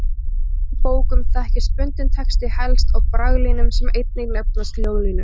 Í prentuðum bókum þekkist bundinn texti helst á braglínum sem einnig nefnast ljóðlínur.